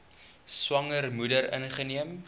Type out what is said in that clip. swanger moeder ingeneem